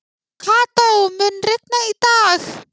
Kató, mun rigna í dag?